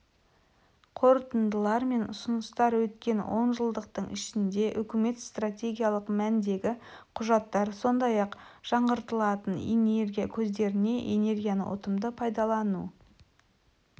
қорытындылар мен ұсыныстар өткен онжылдықтың ішінде үкімет стратегиялық мәндегі құжаттар сондай-ақ жаңғыртылатын энергия көздеріне энергияны ұтымды пайдалану